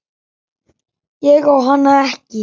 Ég á hana ekki.